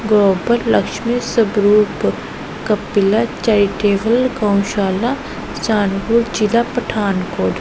Global Lakshmi Swaroop Kapila charitable Gaushala Saharanpur ਜਿਲ੍ਹਾ ਪਠਾਨਕੋਟ।